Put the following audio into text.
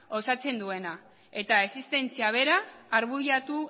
osatzen duena eta existentzia bera arbuiatu